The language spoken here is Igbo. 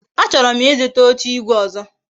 A choro m Ị zụta oche igwe ọzọ